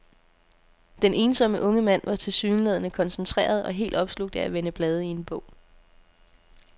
Den ensomme unge mand var tilsyneladende koncentreret og helt opslugt af at vende blade i en bog.